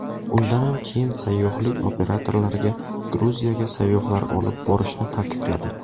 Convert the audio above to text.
Undanam keyin sayyohlik operatorlariga Gruziyaga sayyohlar olib borishni taqiqladi.